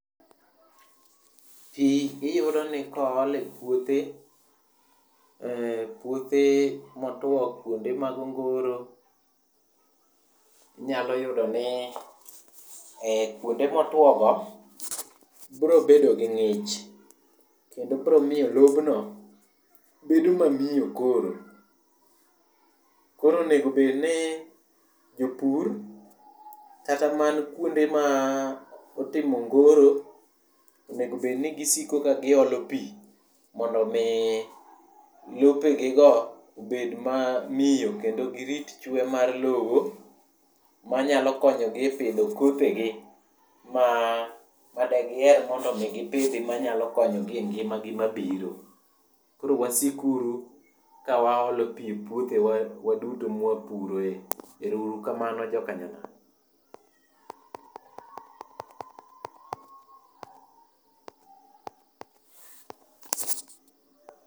Pi iyudo ni kool e puothe, eh puothe motuo kuonde mag ongoro. Inyalo yudo ni eh kuonde motuo go bro bedo gi ng'ich, kendo bro miyo lobno bedo mamiyo koro. Koro onego bedni jopur, kata man kuonde ma otimo ongoro, onego bed ni gisiko ka giolo pi mondo omi lopegigo obed mamiyo kendo girit chwe mar lowo, manyalo konyogi e pidho kothegi madegier mondo gipidhi manyalo konyogi e ngimagi mabiro. Koro wasik uru ka waolo pi e puothewa waduto ma wapuroe. Ero uru kamano jokanyanam.